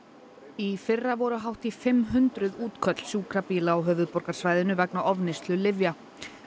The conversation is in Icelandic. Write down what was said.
í fyrra voru hátt í fimm hundruð útköll sjúkrabíla á höfuðborgarsvæðinu vegna ofneyslu lyfja